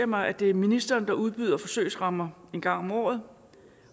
mig at det er ministeren der udbyder forsøgsrammer en gang om året